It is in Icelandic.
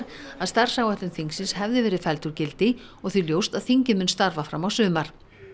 að starfsáætlun þingsins hefði verið felld úr gildi og því ljóst að þingið mun starfa fram á sumar